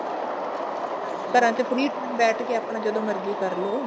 ਘਰਾਂ ਚ free time ਬੈਠ ਕੇ ਆਪਣਾ ਜਦੋਂ ਮਰਜ਼ੀ ਕਰਲੋ